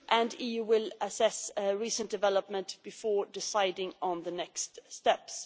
And the EU will assess recent developments before deciding on the next steps.